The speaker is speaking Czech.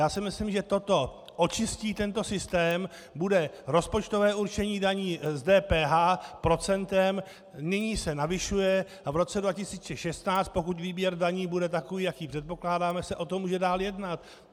Já si myslím, že toto očistí tento systém, bude rozpočtové určení daní z DPH procentem, nyní se navyšuje a v roce 2016, pokud výběr daní bude takový, jaký předpokládáme, se o tom může dál jednat.